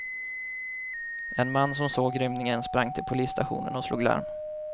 En man som såg rymningen sprang till polisstationen och slog larm.